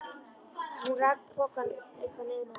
Hún rak pokann upp að nefinu á Lillu.